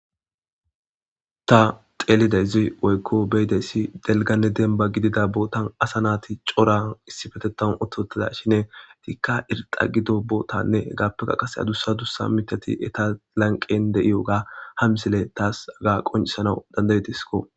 Ta xeelidezi woykko beydeyssi delganne demba gidida bootan asa naati coran issifetetanu ototada shine tikka irxa gido bootanne hgaappeka qase adussa dussa mitati eta lanqen de'iyoga hamsile taas aga qoncisana dandaretisko.